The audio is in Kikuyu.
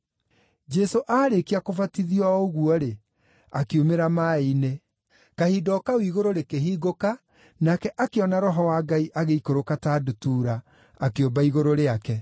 Jesũ aarĩkia kũbatithio o ũguo-rĩ, akiumĩra maaĩ-inĩ. Kahinda o kau igũrũ rĩkĩhingũka, nake akĩona Roho wa Ngai agĩikũrũka ta ndutura, akĩũmba igũrũ rĩake.